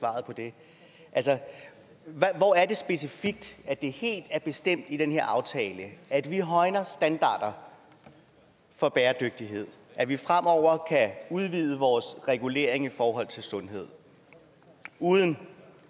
altså hvor er det specifikt at det helt er bestemt i den her aftale at vi højner standarder for bæredygtighed og at vi fremover kan udvide vores regulering i forhold til sundhed uden